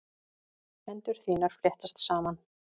Hendur þínar fléttast saman.